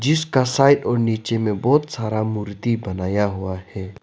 जिसका साइड और नीचे में बहुत सारा मूर्ति बनाया हुआ है।